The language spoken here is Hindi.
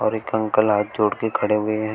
एक अंकल हाथ जोड़ के खड़े हुए हैं।